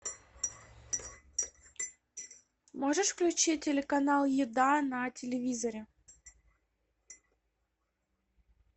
можешь включить телеканал еда на телевизоре